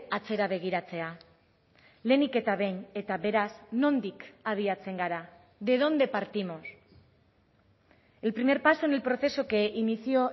atzera begiratzea lehenik eta behin eta beraz nondik abiatzen gara de dónde partimos el primer paso en el proceso que inició